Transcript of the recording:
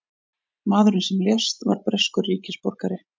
Maðurinn sem lést var breskur ríkisborgari